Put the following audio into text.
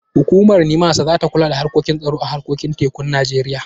Hukumar NIMASA za ta kula da harkokin tsaro a harkokin tekun Najeriya.